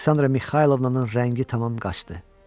Aleksandra Mixaylovna-nın rəngi tamam qaçdı.